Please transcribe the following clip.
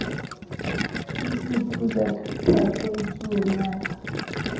e fuphula sa phakwe tsuonyana